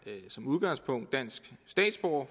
store